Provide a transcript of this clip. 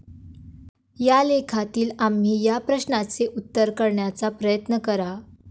या लेखातील आम्ही या प्रश्नाचे उत्तर करण्याचा प्रयत्न करा.